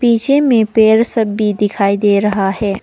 पीछे में पेड़ सब भी दिखाई दे रहा है।